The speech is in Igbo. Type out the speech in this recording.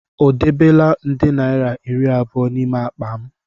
O debela nde naira iri abụọ n'ime akpa m?